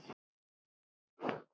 Risa knús og þúsund kossar.